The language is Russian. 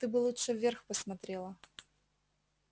ты бы лучше вверх посмотрела